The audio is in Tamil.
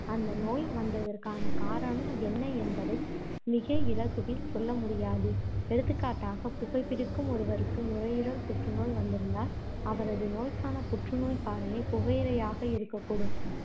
அந்த நோய் வந்ததற்கான காரணம் என்ன என்பதை மிக இலகுவில் சொல்ல முடியாது. எடுத்துக்காட்டாக புகைப் பிடிக்கும் ஒருவருக்கு நுரையீரல் புற்று நோய் வந்திருந்தால், அவரது நோய்க்கான புற்றுநோய்க் காரணி புகையிலையாக இருக்கக் கூடும்.